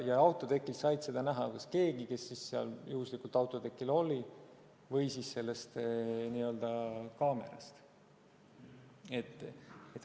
Ja autotekilt sai seda näha keegi, kes seal juhuslikult oli, või siis kaamerast.